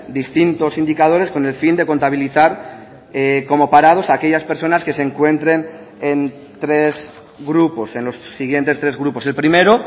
distintos indicadores con el fin de contabilizar como parados a aquellas personas que se encuentren en tres grupos en los siguientes tres grupos el primero